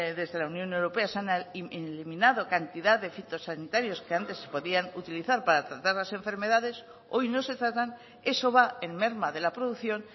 desde la unión europea se han eliminado cantidad de fitosanitarios que antes se podían utilizar para tratar las enfermedades hoy no se tratan eso va en merma de la producción